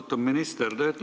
Austatud minister!